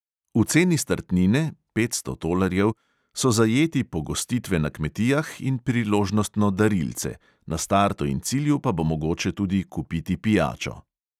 V ceni startnine (petsto tolarjev) so zajeti pogostitve na kmetijah in priložnostno darilce, na startu in cilju pa bo mogoče tudi kupiti pijačo.